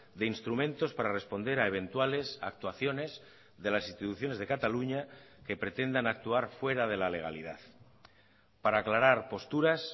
de instrumentos para responder a eventuales actuaciones de las instituciones de cataluña que pretendan actuar fuera de la legalidad para aclarar posturas